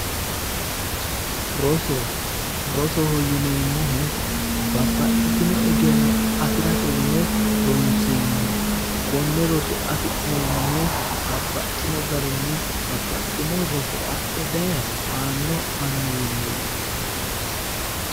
Roso rosoho yineemmohu babbaxitino egenno afirate yine ronseemmoho konne roso afi'neemmohu babbaxxewo garinni babbaxxino roso adhe daye aanno annuwiiniti.